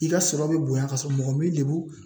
I ka sɔrɔ bɛ bonya ka sɔrɔ mɔgɔ m'i lebu